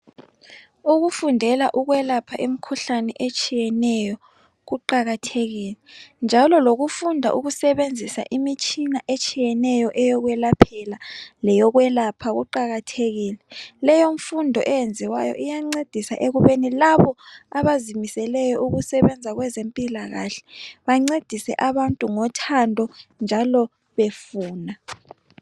Ukufundela ukwelapha imikhuhlane etshiyeneyo kuqakathekile njalo lokufunda ukusebenzisa imitshina etshiyeneyo eyokwelaphela leyokwelapha kuqakathekile .Leyo mfundo eyenziwayo iyancedisa ukuba labo abazimiseleyo ukusebenza kwezempilakahle bancedise abantu ngothando njalo befuna.